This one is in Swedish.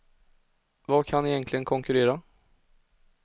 Vad kan egentligen konkurrera?